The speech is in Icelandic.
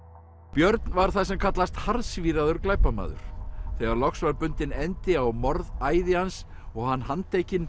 björn var það sem kallast harðsvíraður glæpamaður þegar loks var bundinn endi á morðæði hans og hann handtekinn